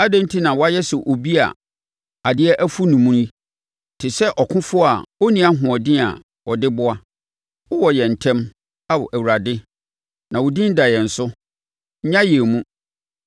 Adɛn enti na woayɛ sɛ obi a adeɛ afu ne mu yi, te sɛ ɔkofoɔ a ɔnni ahoɔden a ɔde boa? Wowɔ yɛn ntam, Ao Awurade na wo din da yɛn so; nnya yɛn mu!